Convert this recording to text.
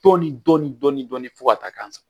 Dɔɔnin dɔɔnin dɔɔnin dɔɔnin fo ka taa k'an sa